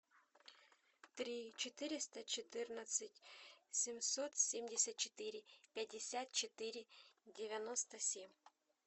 три четыреста четырнадцать семьсот семьдесят четыре пятьдесят четыре девяносто семь